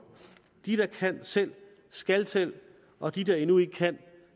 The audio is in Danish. de der kan selv skal selv og de der endnu ikke kan